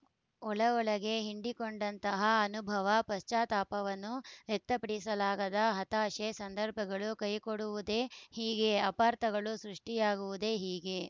ಒಳಒಳಗೆ ಹಿಂಡಿಕೊಂಡಂತಹ ಅನುಭವ ಪಶ್ಚಾತ್ತಾಪವನ್ನು ವ್ಯಕ್ತಪಡಿಸಲಾಗದ ಹತಾಶೆ ಸಂದರ್ಭಗಳು ಕೈಕೊಡುವುದೇ ಹೀಗೆ ಅಪಾರ್ಥಗಳು ಸೃಷ್ಟಿಯಾಗುವುದೇ ಹೀಗೆ